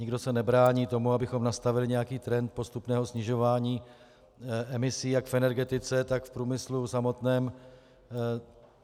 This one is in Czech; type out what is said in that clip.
Nikdo se nebrání tomu, abychom nastavili nějaký trend postupného snižování emisí jak v energetice, tak v průmyslu samotném.